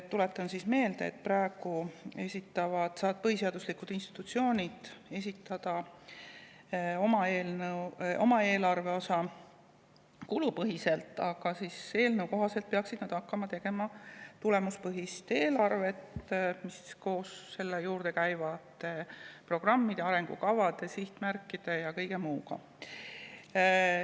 Tuletan meelde, et praegu saavad põhiseaduslikud institutsioonid esitada oma eelarveosa kulupõhiselt, aga eelnõu kohaselt peaksid nad hakkama tegema tulemuspõhist eelarvet, koos selle juurde käivate programmide, arengukavade, sihtmärkide ja kõige muuga.